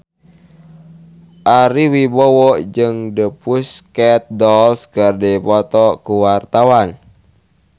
Ari Wibowo jeung The Pussycat Dolls keur dipoto ku wartawan